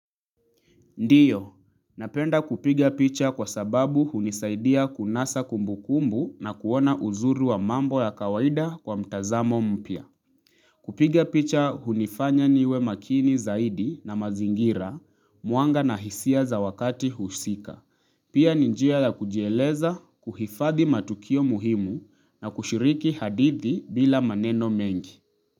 Ndiyo. Napenda kupiga picha kwa sababu hunisaidia kunasa kumbu kumbu na kuona uzuri wa mambo ya kawaida kwa mtazamo mpya. Kupiga picha hunifanya niwe makini zaidi na mazingira mwanga na hisia za wakati husika. Pia ni njia la kujieleza kuhifadhi matukio muhimu na kushiriki hadithi bila maneno mengi.